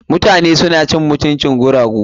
Mutane suna cin mutuncin guragu.